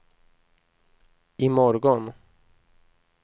imorgon